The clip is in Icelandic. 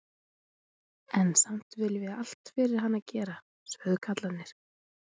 En samt viljum við allt fyrir hana gera, sögðu kallarnir.